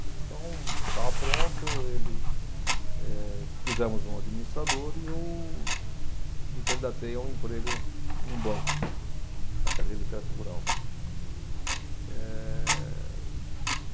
Então, estava pronto, ele, eh, pusemos um administrador e eu me candidatei a um emprego num banco, para a Carteira de Crédito Rural. Hum. Ehh